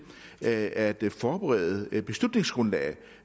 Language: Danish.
at forberede beslutningsgrundlaget